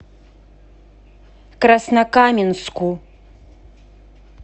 краснокаменску